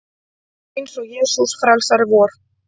Eins og Jesús frelsari vor.